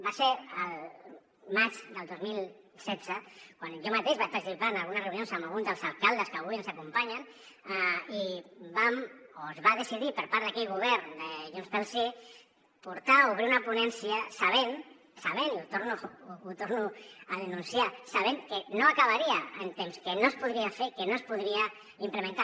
va ser al maig del dos mil setze quan jo mateix vaig participar en algunes reunions amb algun dels alcaldes que avui ens acompanyen i vam o es va decidir per part d’aquell govern de junts pel sí portar o obrir una ponència sabent sabent i ho torno a denunciar que no acabaria en temps que no es podria fer que no es podria implementar